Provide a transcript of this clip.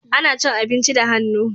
Ana cin abinci da hannu